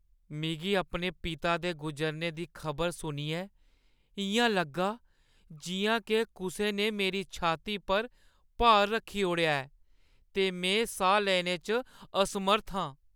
मिगी अपने पिता दे गुजरने दी खबर सुनियै इʼयां लग्गा जिʼयां के कुसै ने मेरी छाती पर भार रक्खी ओड़ेआ ऐ ते ते में साह् लैने च असमर्थ हा।